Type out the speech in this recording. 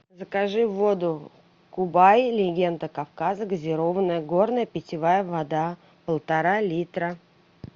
закажи воду кубай легенда кавказа газированная горная питьевая вода полтора литра